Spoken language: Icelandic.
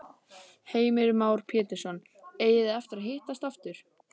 Heimir Már Pétursson: Eigið þið eftir að hittast aftur?